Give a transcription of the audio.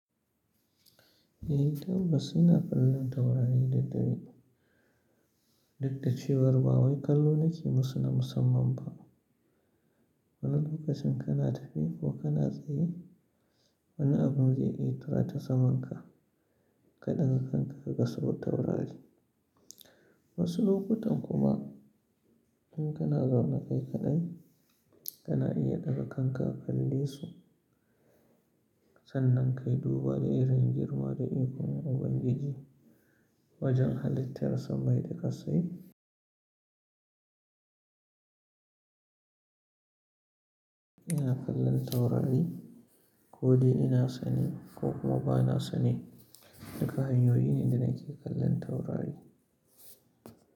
Eh tabbas ina kallon taurari da dare. Duk dacewar ba wai kallo nake musu na musamman ba. Wani lokacin kana tafi ko kana tsaye, wani abin zai iya tura ta samanka ka ɗaga kanka ka ga sau taurari. Wasu lokutan kuma in kana zaune kai kaɗai, kana iya ɗaga kanka ka kalle su sannan kai duba da irin girma da ikon Ubangiji wajen halittar samai da ƙassai. Ina kallon taurari ko dai ina sane ko kuma ba na sane, duka hanyoyi ne da nake kallon taurari.